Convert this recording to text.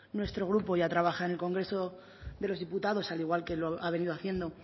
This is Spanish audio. nuestro grupo ya trabaja en el congreso de los diputados al igual que lo ha venido haciendo